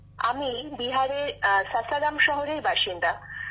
বিশাখাজীঃ আমি বিহারের সাসারাম শহরের বাসিন্দা